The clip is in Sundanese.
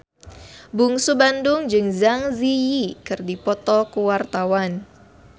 Bungsu Bandung jeung Zang Zi Yi keur dipoto ku wartawan